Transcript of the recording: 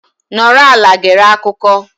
Nọrọ ala gere akụkọ.